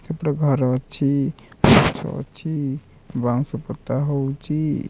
ସେପଟେ ଘର ଅଛି ଅଛି ବାଉଁଶ ପୋତା ହୋଉଚି।